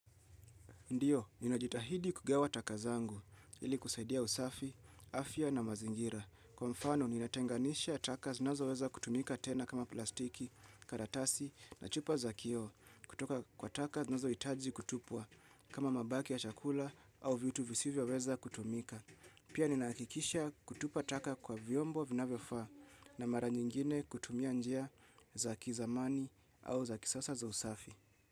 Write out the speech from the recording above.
Ndiyo, ninajitahidi kugawa taka zangu, ili kusaidia usafi, afya na mazingira. Kwa mfano, ninatenganisha taka zinazo weza kutumika tena kama plastiki, karatasi, na chupa za kio. Kutoka kwa taka nazo itaji kutupwa, kama mabaki ya chakula au vitu visivyo weza kutumika. Pia ninaakikisha kutupa taka kwa viombo vinavyo faa na mara nyingine kutumia njia za kizamani au za kisasa za usafi.